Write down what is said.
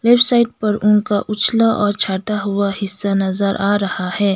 Left side पर उनका उछला और छाटा हुआ हिस्सा नजर आ रहा है।